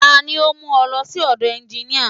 Tani ó ń mú ọ lọ sí ọ̀dọ̀ ẹnginíà?